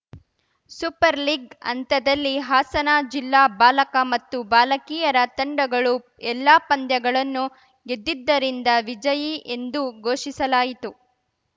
super league ಹಂತದಲ್ಲಿ ಹಾಸನ ಜಿಲ್ಲಾ ಬಾಲಕ ಮತ್ತು ಬಾಲಕಿಯರ ತಂಡಗಳು ಎಲ್ಲಾ ಪಂದ್ಯಗಳನ್ನು ಗೆದ್ದಿದ್ದರಿಂದ ವಿಜಯಿ ಎಂದು ಘೋಷಿಸಲಾಯಿತು